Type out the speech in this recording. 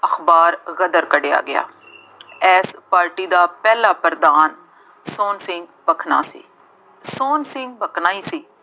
ਅਖਬਾਰ ਗਦਰ ਕੱਢਿਆ ਗਿਆ। ਇਸ ਪਾਰਟੀ ਦਾ ਪਹਿਲਾ ਪ੍ਰਧਾਨ ਸੋਹਣ ਸਿੰਘ ਭਕਨਾ ਸੀ। ਸੋਹਣ ਸਿੰਘ ਭਕਨਾ ਹੀ ਸੀ